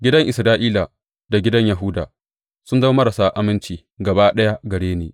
Gidan Isra’ila da gidan Yahuda sun zama marasa aminci gaba ɗaya gare ni